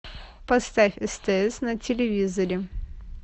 поставь стс на телевизоре